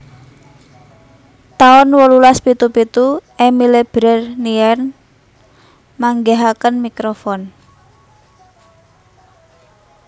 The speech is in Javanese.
taun wolulas pitu pitu Emile Berliner manggihaken mikrofon